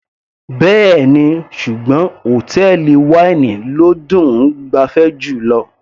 Bẹ́ẹ̀ni, ṣùgbọ́n hòtẹ́ẹ̀lì wáínì ló dùn -un gbafẹ́ jùlọ.